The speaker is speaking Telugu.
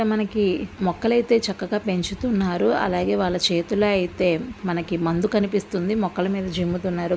మనకి మొక్కలైతే చక్కగా పెంచుతున్నారు అలాగే వాళ్ళ చేతులో అయితే మనకి మందు కనిపిస్తుంది మొక్కల మీద జిమ్ము తున్నారు.